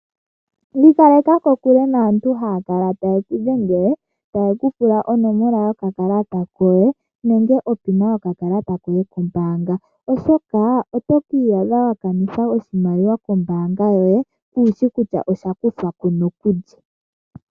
Iikaleka kokule naantu haya kala taye kudhengele taye kupula onomola yo kakalata koye nenge onomola yoye yomeholamo yokakalata koye kombanga ,oshoka oto kii adha wakanitha oshimaliwa kombanga yoye kushi kutya osha kuthwako nokulye.